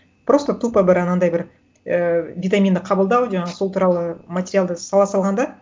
просто тупо бір анандай бір ы витаминді қабылдау жаңағы сол туралы материалды сала салған да